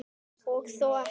Og þó ekki!